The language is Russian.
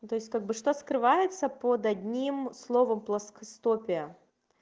ну то есть как бы что скрывается под одним словом плоскостопия